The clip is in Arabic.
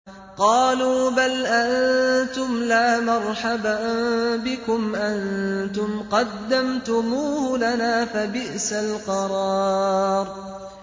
قَالُوا بَلْ أَنتُمْ لَا مَرْحَبًا بِكُمْ ۖ أَنتُمْ قَدَّمْتُمُوهُ لَنَا ۖ فَبِئْسَ الْقَرَارُ